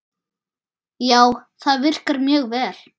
Já, það virkar mjög vel.